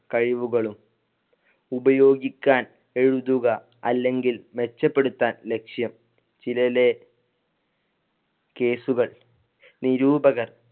കഴിവുകളും ഉപയോഗിക്കാൻ എഴുതുക അല്ലെങ്കിൽ മെച്ചപ്പെടുത്താൻ ലക്ഷ്യം ചിലര്‍ലെ case കൾ നിരൂപകർ